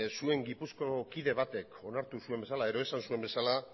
zuen gipuzkoako kide batek onartu zuen bezala edo esan zuen bezala